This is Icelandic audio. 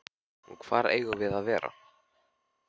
Og hvar eigum við að vera?